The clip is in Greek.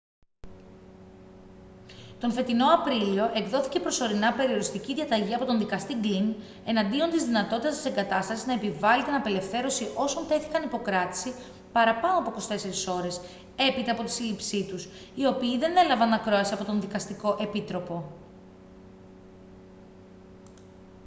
τον φετινό απρίλιο εκδόθηκε προσωρινά περιοριστική διαταγή από τον δικαστή γκλιν εναντίον της δυνατότητας της εγκατάστασης να επιβάλει την απελευθέρωση όσων τέθηκαν υπό κράτηση παραπάνω από 24 ώρες έπειτα από τη σύλληψή τους οι οποίοι δεν έλαβαν ακρόαση από τον δικαστικό επίτροπο